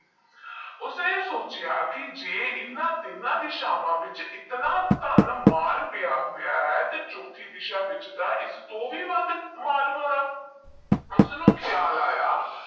ਮੈ ਸੋਚਿਆ ਕਿ ਜੇਹ ਇੰਨਾ ਟੀਨੋ ਦਿਸ਼ਾਵਾਂ ਵਿੱਚ ਇੰਨਾ ਧਨ ਮਾਲ ਪੇਹਾ ਹੋਇਆ ਹੈ ਤੋਹ ਛੋਟੀ ਦੀਸਾ ਵਿੱਚ ਈਐੱਸਐੱਸ ਤੋਹ ਵੀ ਵਾਦ ਮਾਲ ਹੋਣਾ ਓਸਨੂ ਖਿਆਲ ਆਇਆ